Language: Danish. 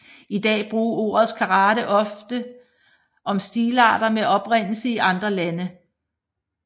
I dag bruges ordet karate også ofte om stilarter med oprindelse i andre lande